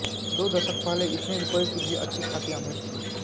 दो दशक पहले इतने रुपयों की भी अच्छी खासी अहमियत थी